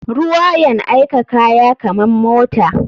Ruwa yan aika kaya kaman mota.